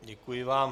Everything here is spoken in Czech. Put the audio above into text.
Děkuji vám.